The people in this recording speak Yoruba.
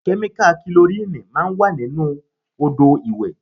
Kẹ́míkà kilorínìì máa ń wà nínú Odò ìwẹ̀.